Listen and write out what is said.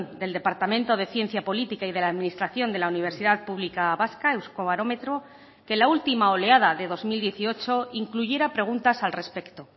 del departamento de ciencia política y de la administración de la universidad pública vasca euskobarometro que la última oleada de dos mil dieciocho incluyera preguntas al respecto